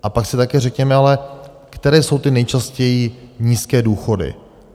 A pak si také řekněme ale, které jsou ty nejčastěji nízké důchody?